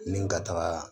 Ni ka taga